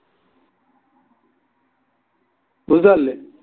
বুঝতে পারলে